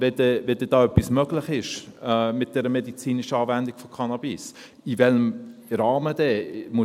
Wenn da etwas möglich ist mit der medizinischen Anwendung von Cannabis, in welchem Rahmen denn?